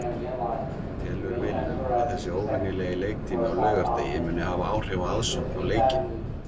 Telur Willum að þessi óvenjulegi leiktími á laugardegi muni hafa áhrif á aðsókn á leikinn?